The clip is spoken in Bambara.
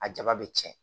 A jaba bɛ cɛn